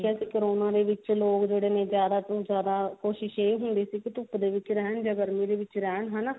ਜਦ corona ਦੇ ਵਿੱਚ ਲੋਕ ਜਿਹੜੇ ਨੇ ਜਿਆਦਾ ਤੋਂ ਜਿਆਦਾ ਕੋਸ਼ਿਸ਼ ਇਹ ਹੁੰਦੀ ਸੀ ਕੀ ਧੁੱਪ ਦੇ ਵਿੱਚ ਰਹਿਣ ਜਾਂ ਗਰਮੀ ਦੇ ਵਿੱਚ ਰਹਿਣ ਹਨਾ